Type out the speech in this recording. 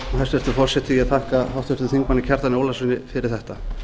hæstvirtur forseti ég þakka háttvirtum þingmanni kjartani ólafssyni fyrir þetta